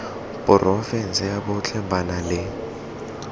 porofense botlhe ba na le